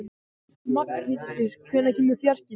Magnfríður, hvenær kemur fjarkinn?